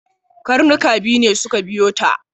Karnuka biyu ne suka biyo ta.